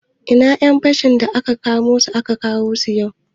Ina ƴan fashin da aka kama su, kawo su nan